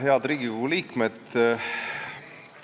Head Riigikogu liikmed!